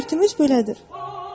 Şərtimiz belədir.